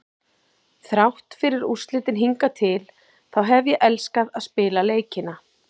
Þrátt fyrir úrslitin hingað til þá hef ég elskað að spila leikina.